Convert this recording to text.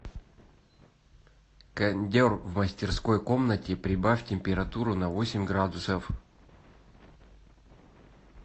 кондер в мастерской комнате прибавь температуру на восемь градусов